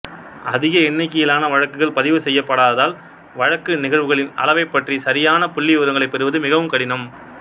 அதிக எண்ணிக்கையிலான வழக்குகள் பதிவு செய்யப்படாததால் வழக்கு நிகழ்வுகளின் அளவைப் பற்றிய சரியான புள்ளிவிவரங்களைப் பெறுவது மிகவும் கடினம்